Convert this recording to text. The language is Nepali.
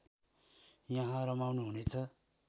यहाँ रमाउनुहुनेछ